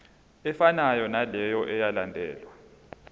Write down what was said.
efanayo naleyo eyalandelwa